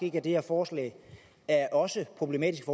ikke at det her forslag også er problematisk